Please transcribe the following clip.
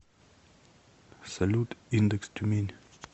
салют индекс тюмень